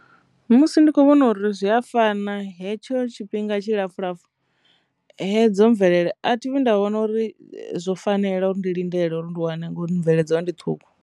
Musi ndi kho vhona uri zwi a fana hetsho tshifhinga tshi lapfhu lapfhu hedzo mvelele a thi nda wana uri zwo fanela uri ndi lindela uri ndi wane ngori bveledzwa ndi ṱhukhu.